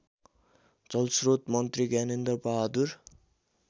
जलस्रोत मन्त्री ज्ञानेन्द्रबहादुर